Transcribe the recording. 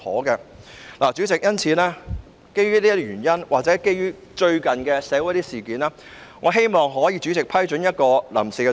因此，主席，基於上述原因或近期一些社會事件，我希望主席可以批准一項臨時議案。